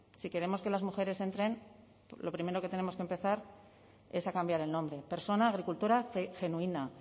si queremos que las mujeres entren lo primero que tenemos que empezar es a cambiar el nombre persona agricultora genuina